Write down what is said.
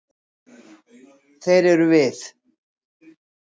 Þeir eru við.